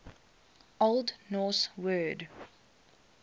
old norse word